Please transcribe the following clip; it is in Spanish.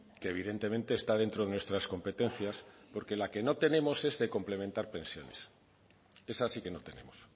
que evidentemente está dentro de nuestra competencias porque la que no tenemos es la de complementar pensiones esa sí que no tenemos